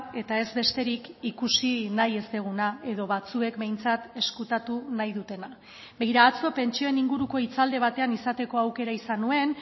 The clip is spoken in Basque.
eta ez besterik ikusi nahi ez duguna edo batzuek behintzat ezkutatu nahi dutena begira atzo pentsioen inguruko hitzaldi batean izateko aukera izan nuen